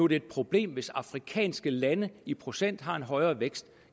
det et problem hvis afrikanske lande i procent har en højere vækst